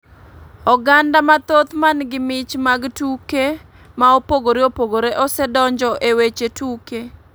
Oganda mathoth man gi mich mag tuke ma opogore opogore osedonjo e weche tuke .